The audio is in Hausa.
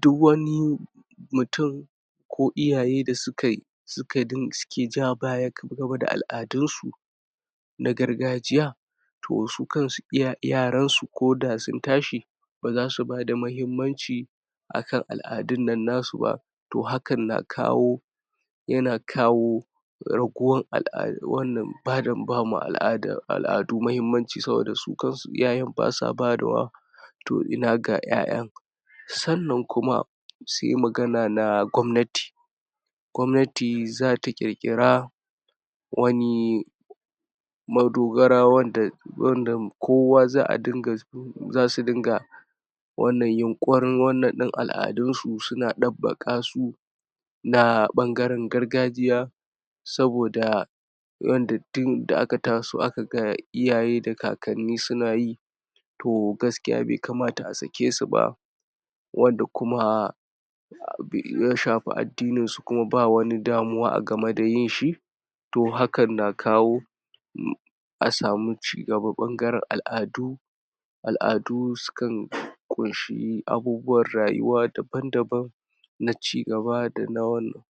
duk wani mutum ko iyaye da suka sukadun suke ja baya kan gaba da al'adunsu na gargajiya toh su kansu, iya yaransu ko da sun tashi bazasu bada muhimmanci akan al'adun nan nasu ba toh hakan na kawo yana kawo ragowar al'a wannan bada bama al'ada al'adu muhimmanci saboda su kansu iyayen basa bayar wa toh ina ga ƴaƴan sannan kuma sai magana na gwamnati gwamnati zata ƙirkira wani madogara wanda kowa za'a dinga zasu dinga wannan yunƙurin wanan ɗin al'adunsu suna ɗabakasu na ɓangaren gargajiya saboda tun da aka taso akaga iyaye da kakanni sunayi toh gaskiya bai kamata a sakesu ba wanda kuma bai um yashafi addininsu kuma ba wani damuwa a game da yinshi toh hakan na kawo um a samu cigaba ɓangaren al'adu al'adu sukan ƙunshi abubuwan rayuwa daban-daban na cigaba da na wannan